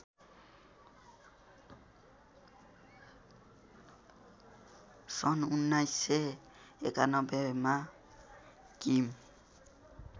सन् १९९१मा किम